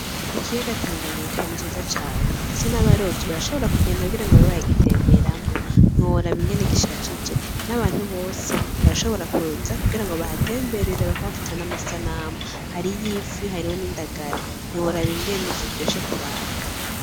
Ikiyaga tanganyika ni ciza cane, ndetse n'abarovyi barashobora kugenda kugira ngo babe bara gitemberamwo, ntiworaba ingene gishajije n'abantu bose barashobora kuza kugira ngo bahatemberere bakahafata n'amasanamu, hari iy'ifi hariho n'indagara ntiworaba ingene kiryoshe kuraba.